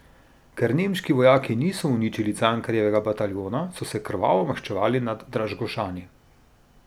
Ker nemški vojaki niso uničili Cankarjevega bataljona, so se krvavo maščevali nad Dražgošani.